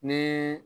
Ni